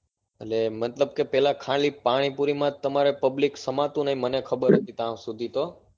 એટલે મતલબ કે ખાલી પેલા પાણીપુરી માં જ તમારે public સમાતું નથી મને ખબર હતી ત્યાર સુધી તો